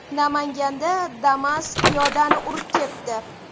Namanganda Damas piyodani urib ketdi.